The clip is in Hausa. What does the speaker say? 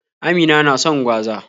Amina na son gwaza.